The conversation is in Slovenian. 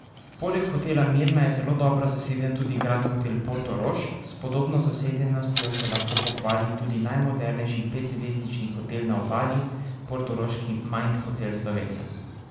Poleg Hotela Mirna je zelo dobro zaseden tudi Grand Hotel Portorož, s podobno zasedenostjo se lahko pohvali tudi najmodernejši petzvezdični hotel na Obali, portoroški Mind Hotel Slovenija.